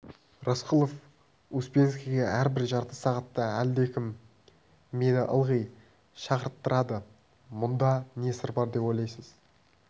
рысқұлов успенскийге әрбір жарты сағатта әлдекім мені ылғи шақырттырады мұнда не сыр бар деп ойлайсыз